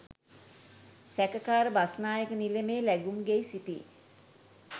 සැකකාර බස්‌නායක නිලමේ ලැගුම්ගෙයි සිටි